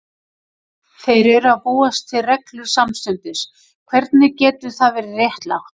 Þeir eru að búa til reglur samstundis, hvernig getur það verið réttlátt?